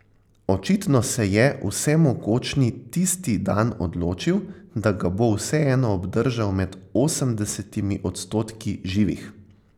Očitno se je vsemogočni tisti dan odločil, da ga bo vseeno obdržal med osemdesetimi odstotki živih.